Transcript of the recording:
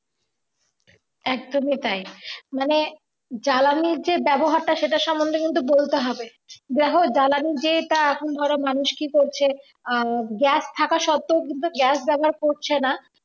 একদমই তাই মানে জ্বালানি যে ব্যবহারটা সেটা সম্বন্ধে কিন্তু বলতে হবে যাই হোক জ্বালানির যেটা এখন ধরো মানুষ কি করছে gas থাকা সত্ত্বেও কিন্তু gas ব্যবহার করছে না